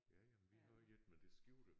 Ja ja men vi har også et men det skjuler